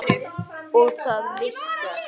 Og það virkar.